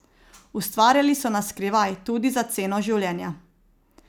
Ustvarjali so na skrivaj, tudi za ceno življenja.